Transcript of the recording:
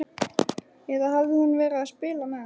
Eða hafði hún verið að spila með hann?